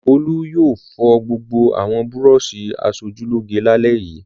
Olú yóò fọ gbogbo àwọn búrọ́ṣì aṣojúlóge lálẹ́ yìí!